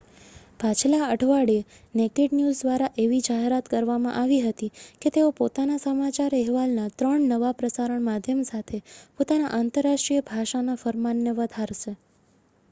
પાછલા અઠવાડિયે naked news દ્વારા એવી જાહેરાત કરવામાં આવી હતી કે તેઓ પોતાના સમાચાર અહેવાલના 3 નવા પ્રસારણ માધ્યમ સાથે પોતાના આંતરરાષ્ટ્રીય ભાષાના ફરમાનને વધારશે